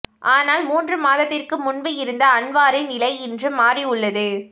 ஆனால் மூன்று மாதத்திற்கு முன்பு இருந்த அன்வாரின் நிலை இன்று மாறி உள்ளது